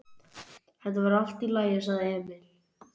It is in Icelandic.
Þetta verður allt í lagi, sagði Emil.